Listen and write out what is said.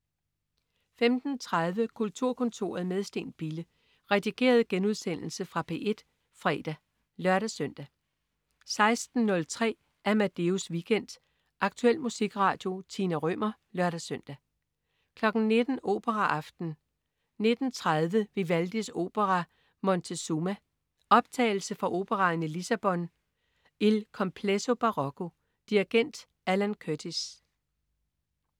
15.30 Kulturkontoret med Steen Bille. Redigeret genudsendelse fra P1 fredag (lør-søn) 16.03 Amadeus Weekend. Aktuel musikradio. Tina Rømer (lør-søn) 19.00 Operaaften. 19.30 Vivaldis opera Montezuma. Optagelse fra operaen i Lissabon. Il Complesso Barocco. Dirigent: Alan Curtis